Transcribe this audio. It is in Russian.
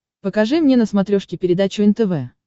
покажи мне на смотрешке передачу нтв